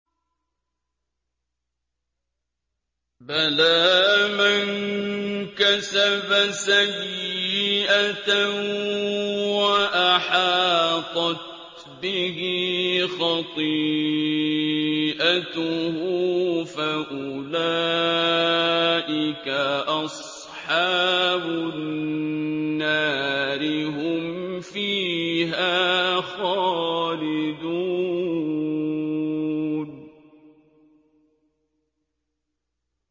بَلَىٰ مَن كَسَبَ سَيِّئَةً وَأَحَاطَتْ بِهِ خَطِيئَتُهُ فَأُولَٰئِكَ أَصْحَابُ النَّارِ ۖ هُمْ فِيهَا خَالِدُونَ